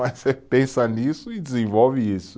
Mas você pensa nisso e desenvolve isso.